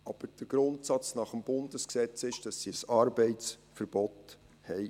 Aber der Grundsatz nach Bundesrecht ist, dass sie ein Arbeitsverbot haben.